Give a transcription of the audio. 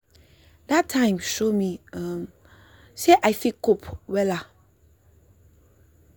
that time show me um sey i fit cope wella.